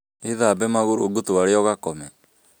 Wĩthambe magũrũ ngũtware ũgakome